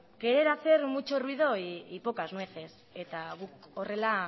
querer hacer mucho ruido y pocas nueces eta guk horrela